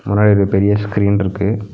முன்னாடி ஒரு பெரிய ஸ்கிரீன் இருக்கு.